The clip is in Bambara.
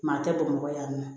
Maa tɛ bamakɔ yan nɔ